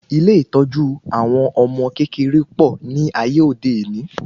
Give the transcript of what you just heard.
Ilé ìtọ́jú àwọn ọmọ kékeré pọ̀ ní ayé òde òní